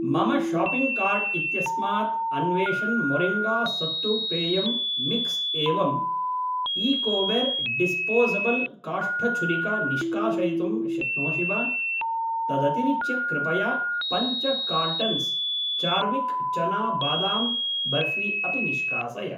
मम shopping cart इत्यस्मात् Anveshan moringa sattu पेयम् मिक्स् एवं ईकोवेर् डिस्पोसब्ल् काष्ठछुरिका निष्कासयितुं शक्नोषि वा, तदतिरिच्य कृपया पञ्च कार्टन्स् चार्विक् चना बादाम् बर्फी अपि निष्कासय।